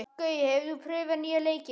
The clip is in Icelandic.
Gaui, hefur þú prófað nýja leikinn?